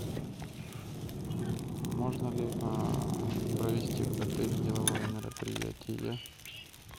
можно ли провести в отеле деловое мероприятие